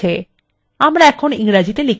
window চলে গেছে